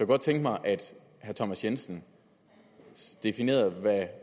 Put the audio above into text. godt tænke mig at herre thomas jensen definerede hvad